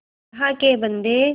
अल्लाह के बन्दे